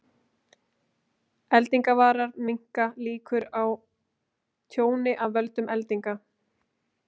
Eldingavarar minnka líkur á tjóni af völdum eldinga.